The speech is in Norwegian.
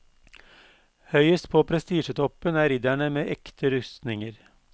Høyest på prestisjetoppen er ridderne med ekte rustninger.